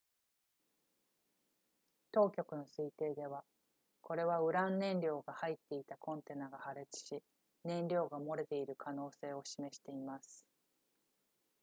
当局の推定ではこれはウラン燃料が入っていたコンテナが破裂し燃料が漏れている可能性を示しています